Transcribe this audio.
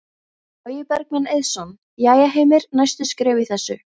Logi Bergmann Eiðsson: Jæja Heimir, næstu skref í þessu?